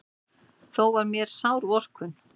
Þó var mér sár vorkunn.